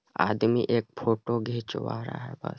आदमी एक फोटो घिचवा रहा है बस।